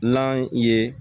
N'an ye